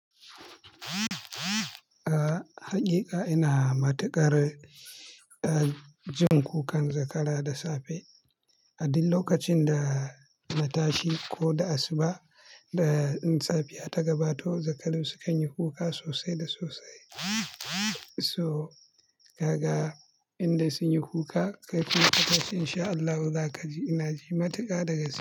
Haƙiƙa ina matuƙar jin kukan zakara da safe. A duk lokacin da na tashi ko da asuba in safiya ta gabato, zakarun sukanyi kuka sosai da sosai. So kaga, indai sun yi kuka kai kuma ka tashi insha Allahu za ka ji. Ina ji matuƙa daga su.